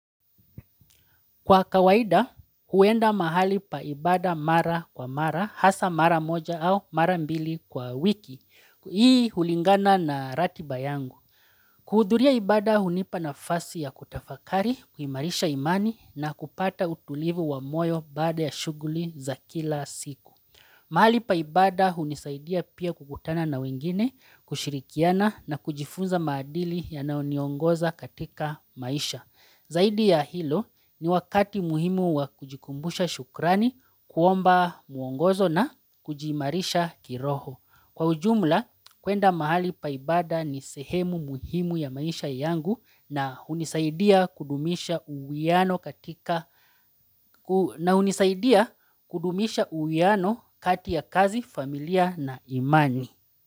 Kwa kawaida, huenda mahali pa ibada mara kwa mara, hasa mara moja au mara mbili kwa wiki. Hii hulingana na ratiba yangu. Kuhuduria ibada hunipa nafasi ya kutafakari, kuimarisha imani na kupata utulivu wa moyo baada ya shughuli za kila siku. Mahali pa ibada hunisaidia pia kukutana na wengine, kushirikiana na kujifunza maadili yanaoniongoza katika maisha. Zaidi ya hilo ni wakati muhimu wa kujikumbusha shukrani kuomba muongozo na kujiimarisha kiroho. Kwa ujumla, kuenda mahali pa ibada ni sehemu muhimu ya maisha yangu na hunisaidia kudumisha uwiano katika na hunisaidia kudumisha uwiano kati ya kazi, familia na imani.